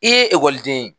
I ye ekɔliden ye